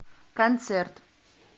концерт